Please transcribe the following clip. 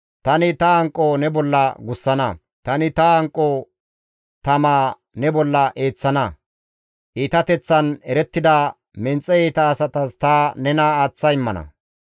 Tani ta hanqo ne bolla gussana; tani ta hanqo tamaa ne bolla eeththana; iitateththan erettida menxe iita asatas ta nena aaththa immana.